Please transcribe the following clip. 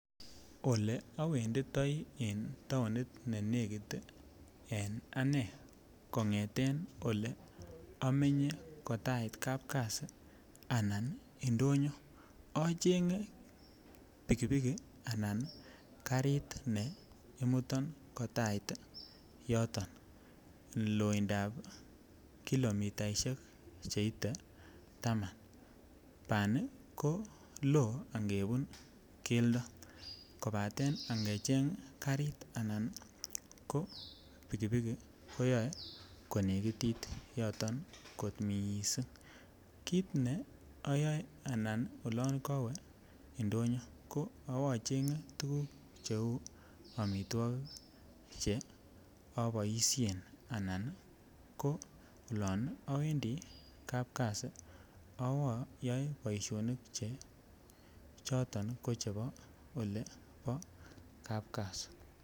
Oleowenditoi taonit ne nekit en anee kong'eten olee omenye kotait kapkasi anaan indonyo ocheng'e pikipiki alaan karit nee imuton kotait yoton loindab kilomitaishek cheite taman, banii ko loo ng'ebun keldo kobaten ing'echeng karit anan ko pikipiki koyoe konekitit yoton kot mising, kiit ne oyoe anan olon kowee indonyo ko awo chenge tukuk cheuu amitwokik che oboishen anan ko olon owendi kapkasi awoo yoe boishonik che choton ko chebo olebo kapkasi.